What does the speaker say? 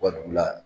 U ka dugu la